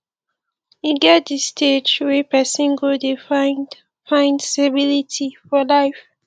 e get di stage wey person go dey find find stability for life